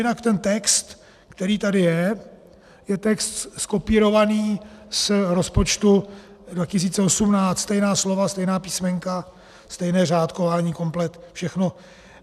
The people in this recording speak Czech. Jinak ten text, který tady je, je text zkopírovaný z rozpočtu 2018, stejná slova, stejná písmenka, stejné řádkování, komplet všechno.